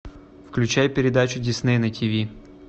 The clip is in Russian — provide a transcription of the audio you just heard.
включай передачу дисней на тв